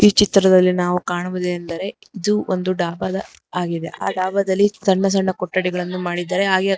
ಈ ಚಿತ್ರದಲ್ಲಿ ನಾವು ಕಾಣುವುದೆನೆಂದರೆ ಇದು ಒಂದು ಡಾಬ ದ ಆಗಿದೆ ಆ ಡಾಬ ದಲ್ಲಿ ಸಣ್ಣ ಸಣ್ಣ ಕೊಠಡಿಗಳನ್ನು ಮಾಡಿದ್ದಾರೆ ಹಾಗೆ ಅಲ್ಲಿ --